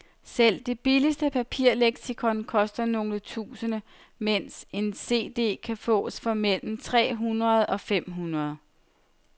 Selv det billigste papirleksikon koster nogle tusinde, mens en cd kan fås for mellem tre hundrede og fem hundrede.